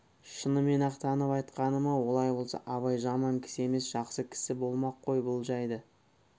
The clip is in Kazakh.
шынымен-ақ танып айтқаны ма олай болса абай жаман кісі емес жақсы кісі болмақ қой бұл жайды